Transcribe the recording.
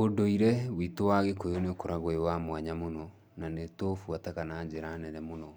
Ũndũire witũ wa Gĩkũyũ nĩũkoragwo wĩ wa mwanya mũno, na nĩ tũubuataga na njĩra nene mũno.